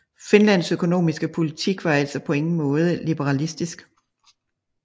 Finlands økonomiske politik var altså på ingen måde liberalistisk